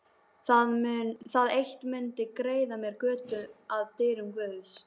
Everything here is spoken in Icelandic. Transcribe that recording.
Það eitt mundi greiða mér götu að dyrum guðs.